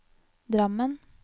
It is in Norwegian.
Drammen